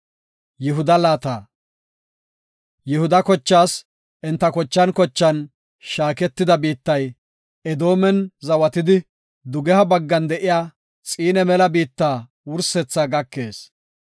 Yihuda kochaas enta kochan kochan shaaketida biittay Edoomen zawatidi, dugeha baggan de7iya Xiine mela biitta wursethaa gakees.